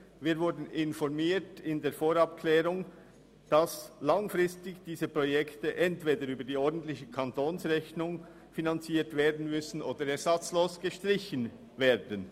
Wir wurden im Rahmen der Vorabklärung informiert, dass diese Projekte langfristig entweder über die ordentliche Kantonsrechnung finanziert werden müssen oder ersatzlos gestrichen werden.